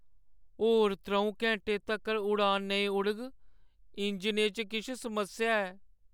होर त्र'ऊं घैंटे तक्कर उड़ान नेईं उडग। इंजनै च किश समस्या ऐ।